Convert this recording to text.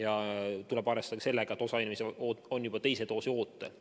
Tuleb arvestada ka sellega, et osa inimesi on juba teise doosi ootel.